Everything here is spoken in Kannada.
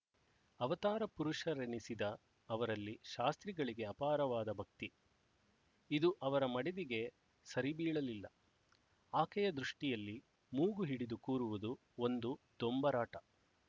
ಅವತಾರಪುರುಷರೆನಿಸಿದ ಅವರಲ್ಲಿ ಶಾಸ್ತ್ರಿಗಳಿಗೆ ಅಪಾರವಾದ ಭಕ್ತಿ ಇದು ಅವರ ಮಡದಿಗೆ ಸರಿಬೀಳಲಿಲ್ಲ ಆಕೆಯ ದೃಷ್ಟಿಯಲ್ಲಿ ಮೂಗು ಹಿಡಿದು ಕೂರುವುದು ಒಂದು ದೊಂಬರಾಟ